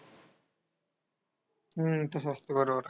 हम्म तसं असतं बरोबर.